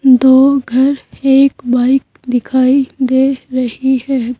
दो घर एक बाइक दिखाई दे रही है।